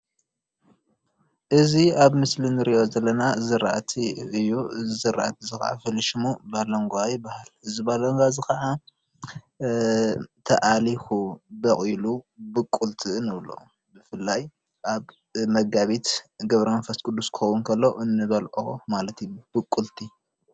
እዚ ኣብ ምስሊ ንርእዮ ዘለና ዘራእቲ እዩ እዚ ዘራእቲ እዚ ኻዓ ፍሉይ ሽሙ ባሎንጓ ይባሃል እዚ ባለንጓ እዚ ኻዓ ተኣሊኹ ቦቝሉ ቡቁልቲ ንብሎ ብፍላይ ኣብ መጋቢት ገብረመንፈስ ቁዱስ ክኾውን እንከሎ እንበልዖ ማለት እዩ ብቁልቲ